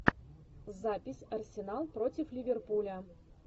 запись арсенал против ливерпуля